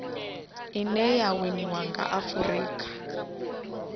ine ya winiwa nga afurika